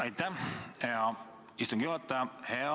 Aitäh, hea istungi juhataja!